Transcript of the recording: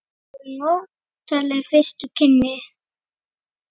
Það voru notaleg fyrstu kynni.